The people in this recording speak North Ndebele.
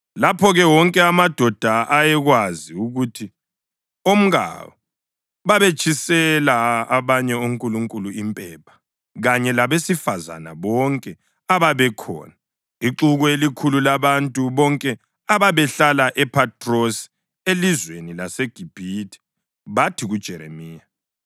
Lapho-ke wonke amadoda ayekwazi ukuthi omkawo babetshisela abanye onkulunkulu impepha, kanye labesifazane bonke ababekhona, ixuku elikhulu, labantu bonke ababehlala ePhathrosi elizweni laseGibhithe, bathi kuJeremiya: